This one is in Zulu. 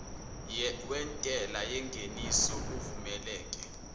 wentela yengeniso kuvumeleke